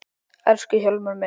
Elsku Hjálmar minn.